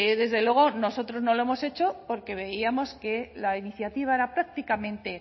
desde luego nosotros no lo hemos hecho porque veíamos que la iniciativa era prácticamente